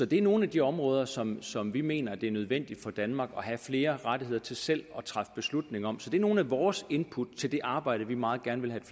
det er nogle af de områder som som vi mener det er nødvendigt for danmark at have flere rettigheder til selv at træffe beslutning om så det er nogle af vores input til det arbejde vi meget gerne vil have